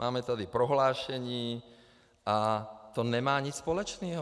Máme tady prohlášení a to nemá nic společného.